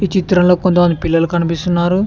ఈ చిత్రంలో కొంతమంది పిల్లలు కనిపిస్తున్నారు.